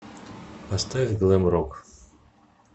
поставь глэм рок